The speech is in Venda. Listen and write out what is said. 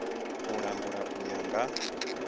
u langula u ya nga